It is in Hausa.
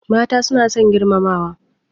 Mata suna son girmamawa.